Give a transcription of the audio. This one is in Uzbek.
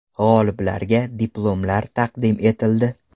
G‘oliblarga diplomlar taqdim etildi.